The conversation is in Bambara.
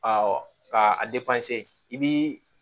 ka a i bi